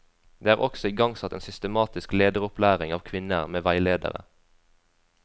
Det er også igangsatt en systematisk lederopplæring av kvinner, med veiledere.